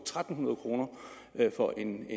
tre hundrede kroner for en